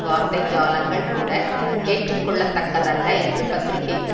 வார்த்தை ஜாலங்கள் கூட ஏற்றுக்கொள்ளத்தக்கதல்ல என்று பத்திரிகைக்கு